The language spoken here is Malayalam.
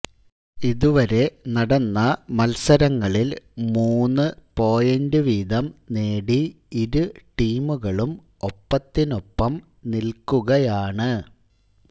ഇതുവരെ നടന്ന മത്സരങ്ങളില് മൂന്ന് പോയിന്റ് വീതം നേടി ഇരു ടീമുകളും ഒപ്പത്തിനൊപ്പം നില്ക്കുകയാണ്